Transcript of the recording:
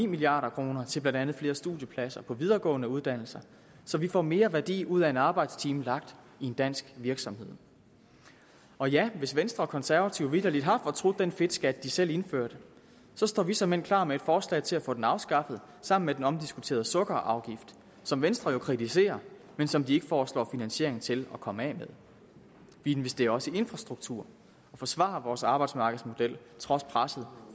milliard kroner til blandt andet flere studiepladser på videregående uddannelser så vi får mere værdi ud af en arbejdstime lagt i en dansk virksomhed og ja hvis venstre og konservative vitterlig har fortrudt den fedtskat de selv indførte så står vi såmænd klar med et forslag til at få den afskaffet sammen med den omdiskuterede sukkerafgift som venstre jo kritiserer men som de ikke foreslår finansiering til at komme af med vi investerer også i infrastruktur og forsvarer vores arbejdsmarkedsmodel trods presset